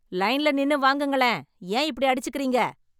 லைன்ல நின்னு வாங்குங்களேன் ஏன் இப்படி அடிச்சுக்கிறீங்க